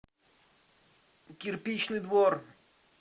кирпичный двор